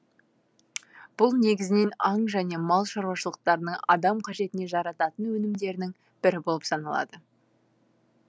бұл негізінен аң және мал шаруашылықтарының адам қажетіне жарататын өнімдерінің бірі болып саналады